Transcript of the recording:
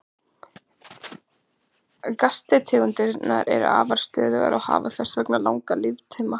Gastegundirnar eru afar stöðugar og hafa þess vegna langan líftíma.